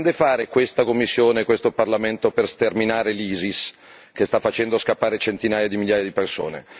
Cosa intendono fare questa Commissione e questo Parlamento per sterminare l'ISIS, che sta facendo scappare centinaia di migliaia di persone?